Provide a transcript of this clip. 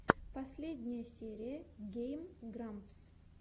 последняя серия гейм грампс